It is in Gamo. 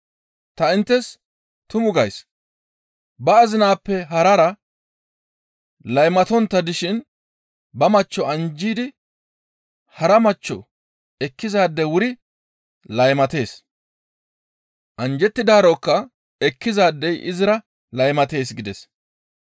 «Ta inttes tumu gays; ba azinappe harara laymatontta dishin ba machcho anjji yeddida hara machcho ekkizaadey wuri laymatees. Anjjettidaarokka ekkizaadey izira laymatees» gides.